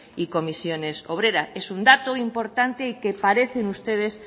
y comisiones obreras es un dato importante y que parecen ustedes